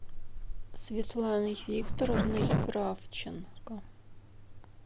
светланой викторовной кравченко